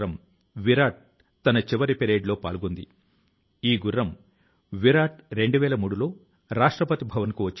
doctor Nikich 70 ఏళ్ల వయసు లో సంస్కృత భాష నేర్చుకొన్నారని తెలుసుకోవడం మీకు చాలా సంతోషాన్ని ఇస్తుంది